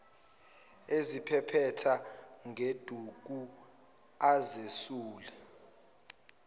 eziphephetha ngeduku azesula